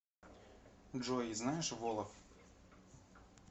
джой знаешь волоф